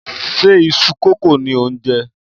Ṣe iṣu kókò ni ò ń jẹ?